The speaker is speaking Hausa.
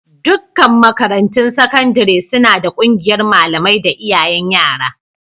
Dukkan makarantun sakandare suna da ƙungiyar malamai da iyayen yara.